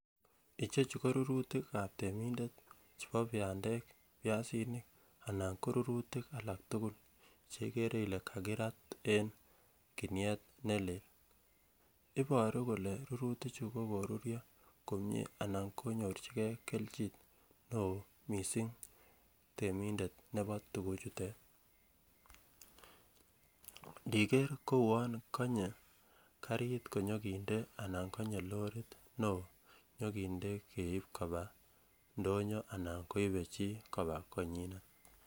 Ichechu korurutikab temindet chebo bandek, piasinik anan korurutik alak tukul cheikre ilee kakirat en kinuet nelel, iboru kole rurutichu kokoruryo komnyee anan konyorchikee kelchin neoo mising temindet nebo tukuchuton, ndiker Kouwon konye karit konyokinde anan konye lorit neoo nyokinde keib kobaa ndonyo anan koibe chii kobaa konyinet.